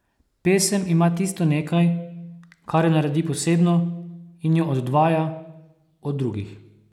Pesem ima tisto nekaj, kar jo naredi posebno in jo oddvaja od drugih.